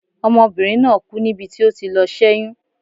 Ọmọbinrin naa ku nibi ti o ti lọ sé̩yún